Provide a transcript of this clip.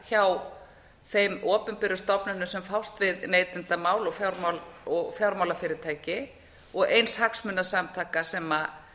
hjá þeim opinberu stofnunum sem fást við neytendamál og fjármálafyrirtæki og eins hagsmunasamtaka sem